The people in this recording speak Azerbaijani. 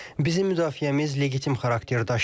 Bizim müdafiəmiz legitim xarakter daşıyır.